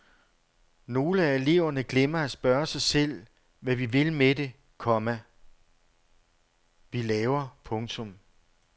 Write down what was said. Nogle af eleverne glemmer at spørge sig selv hvad vi vil med det, komma vi laver. punktum